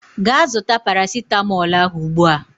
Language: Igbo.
Gaa zụta parasịtamọọl ahụ ugbua!